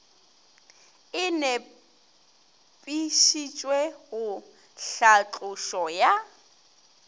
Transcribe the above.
e nepišitšwe go tlhatlošo ya